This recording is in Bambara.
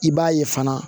I b'a ye fana